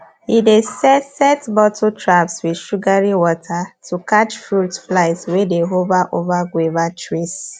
he dey set set bottle traps with sugary water to catch fruit flies wey dey hover over guava trees